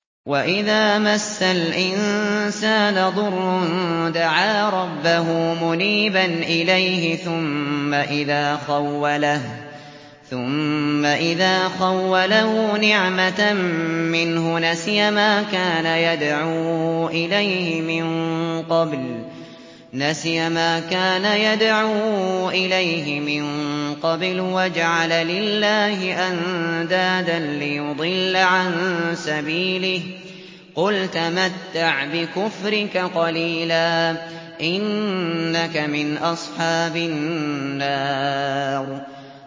۞ وَإِذَا مَسَّ الْإِنسَانَ ضُرٌّ دَعَا رَبَّهُ مُنِيبًا إِلَيْهِ ثُمَّ إِذَا خَوَّلَهُ نِعْمَةً مِّنْهُ نَسِيَ مَا كَانَ يَدْعُو إِلَيْهِ مِن قَبْلُ وَجَعَلَ لِلَّهِ أَندَادًا لِّيُضِلَّ عَن سَبِيلِهِ ۚ قُلْ تَمَتَّعْ بِكُفْرِكَ قَلِيلًا ۖ إِنَّكَ مِنْ أَصْحَابِ النَّارِ